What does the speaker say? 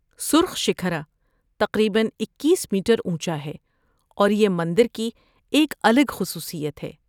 سرخ شکھر تقریباً اکیس میٹر اونچا ہے اور یہ مندر کی ایک الگ خصوصیت ہے